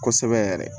Kosɛbɛ yɛrɛ